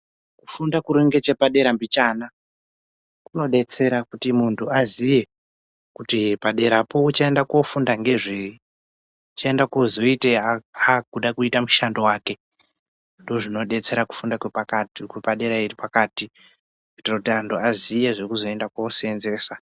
Kufunda kuri necheoadera mbichana kunodetsera kuti muntu aziye kuti paderapo uchaenda kofunda ngezvei, uchaenda koitei akuda kuita mushando wake ndozvinodetsera kufunda kwepakati, kwepadera kuitira kuti antu aziye zvekuzoenda koseenzesa.